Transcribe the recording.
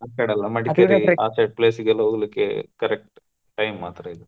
ಆಕ್ಕಡೆ ಎಲ್ಲಾ ಆ side place ಗೆ ಎಲ್ಲಾ ಹೋಗ್ಲಿಕ್ಕೆ correct time ಮಾತ್ರ ಇದು.